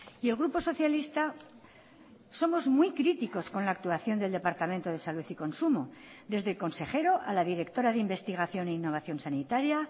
y el grupo socialista somos muy críticos con la actuación del departamento de salud y consumo desde el consejero a la directora de investigación e innovación sanitaria